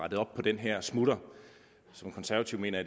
rettet op på den her smutter som konservativ mener